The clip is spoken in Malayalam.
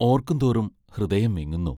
ഓർക്കും തോറും ഹൃദയം വിങ്ങുന്നു.